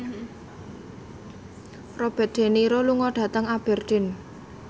Robert de Niro lunga dhateng Aberdeen